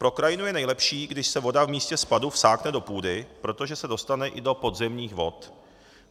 Pro krajinu je nejlepší, když se voda v místě spadu vsákne do půdy, protože se dostane i do podzemních vod.